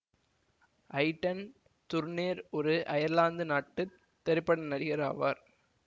Aiden Turner ஒரு Ireland நாட்டு திரைப்பட நடிகர் ஆவார்